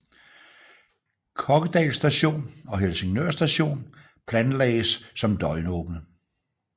Kokkedal station og Helsingør station planlagdes som døgnåbne